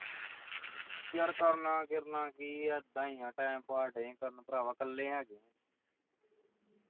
ਯਾਰ ਕਰਨਾ ਕੁਰਨਾ ਕੀ ਐ ਇੱਦਾ ਈ ਆ time pass ਦਏ ਕਰਨ ਭਰਾਵਾਂ ਕੱਲੇ ਹੈਗੇ